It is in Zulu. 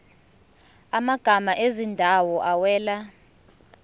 amagama ezindawo awela